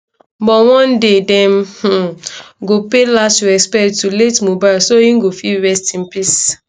but one day dem um go pay last respect to late mohbad so e go fit go rest in peace